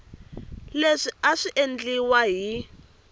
leswi a swi endliwa hi